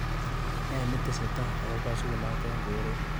Ne ni tesetai ako kasunot eng koret.